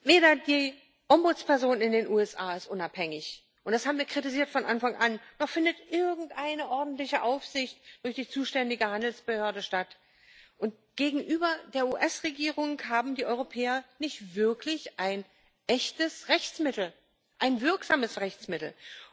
Weder die Ombudsperson in den USA ist unabhängig und das haben wir von Anfang an kritisiert noch findet irgendeine ordentliche Aufsicht durch die zuständige Handelsbehörde statt, und gegenüber der US Regierung haben die Europäer nicht wirklich ein echtes Rechtsmittel, ein wirksames Rechtsmittel.